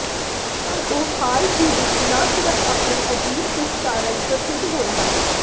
ਪਰ ਉਹ ਹਾਲ ਹੀ ਵਿਚ ਨਾ ਸਿਰਫ ਆਪਣੀ ਅਜੀਬ ਦਿੱਖ ਕਾਰਨ ਪ੍ਰਸਿੱਧ ਹੋਏ ਹਨ